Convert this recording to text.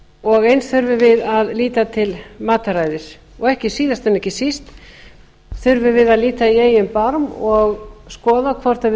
og eins þurfum við að líta til mataræðis síðast en ekki síst þurfum við að líta í eigin barm og skoða hvort við